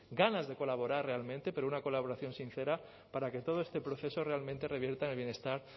ganas de colaborar realmente pero una colaboración sincera para que todo este proceso realmente revierta en el bienestar